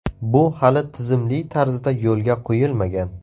Bu hali tizimli tarzda yo‘lga qo‘yilmagan.